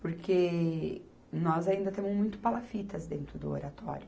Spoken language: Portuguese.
Porque nós ainda temos muito palafitas dentro do Oratório.